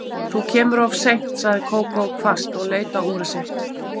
Þú kemur of seint sagði Kókó hvasst og leit á úrið sitt.